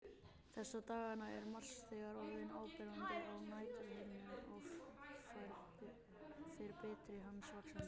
Þessa dagana er Mars þegar orðinn áberandi á næturhimninum og fer birta hans vaxandi.